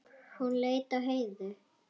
Hún leit á Heiðu.